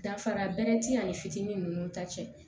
Danfara bɛrɛ ti ani fitinin ninnu ta cɛ